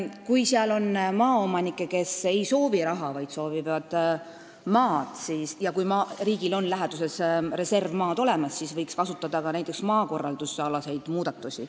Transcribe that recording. Kui on maaomanikke, kes ei soovi raha, vaid soovivad maad, ja kui riigil on läheduses reservmaad, siis võiks kasutada ka maakorraldusalaseid muudatusi.